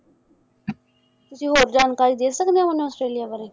ਜੀ ਹੋਰ ਜਾਣਕਾਰੀ ਦੇ ਸਕਦੇ ਓ ਮੈਨੂੰ ਔਸਟ੍ਰੇਲਿਆ ਬਾਰੇ?